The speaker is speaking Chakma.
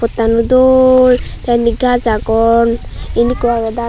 pottano dol te indi gach agon indi ikko agey .